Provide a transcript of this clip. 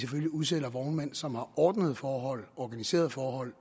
udsætter vognmænd som har ordnede forhold og organiserede forhold